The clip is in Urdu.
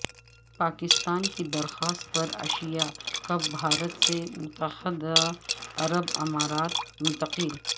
پاکستان کی درخواست پر ایشیا کپ بھارت سے متحدہ عرب امارات منتقل